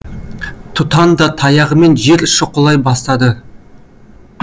тұтан да таяғымен жер шұқылай бастады